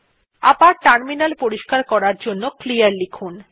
আবার টার্মিনাল পরিষ্কার করার জন্য ক্লিয়ার লিখুন